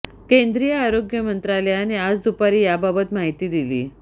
केंद्रीय आरोग्य मंत्रालयाने आज दुपारी याबाबत माहिती दिली